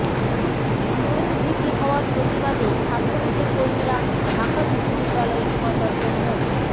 Nurul VP হওয়ার প্রতিবাদে ছাত্রলীগের কর্মীরা ঢাকা বিশ্ববিদ্যালয়ের উপাচার্য মো